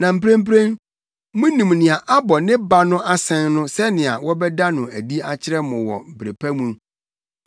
Na mprempren munim nea abɔ ne ba no asɛn no sɛnea wɔbɛda no adi akyerɛ mo wɔ bere pa mu.